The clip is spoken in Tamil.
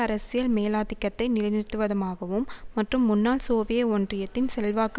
அரசியல் மேலாதிக்கத்தை நிலைநிறுத்துவதமாகவும் மற்றும் முன்னாள் சோவிய ஒன்றியத்தின் செல்வாக்கு